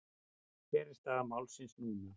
Hver er staða málsins núna?